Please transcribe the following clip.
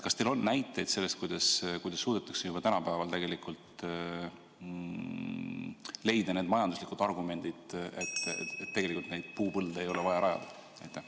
Kas teil on näiteid sellest, et on suudetud tänapäeval tegelikult leida need majanduslikud argumendid, et tegelikult neid puupõlde ei ole vaja rajada?